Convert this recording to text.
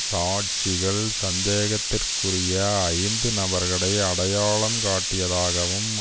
சாட்சிகள் சந்தேகத்திற்குரிய ஐந்து நபர்களை அடையாளம் காட்டியதாகவும்